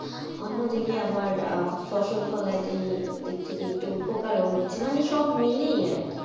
অন্যদিকে আবার আহ ফসল ফলাইতে দিক থেকে একটু উপকারও হচ্ছে মানে সব মিলিয়ে আর কি.